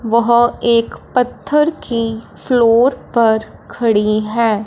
वह एक पत्थर की फ्लोर पर खड़ी हैं।